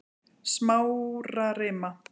Smárarima